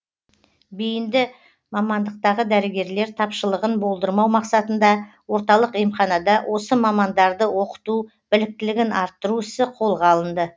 бейінді мамандықтағы дәрігерлер тапшылығын болдырмау мақсатында орталық емханада осы мамандарды оқыту біліктілігін арттыру ісі қолға алынды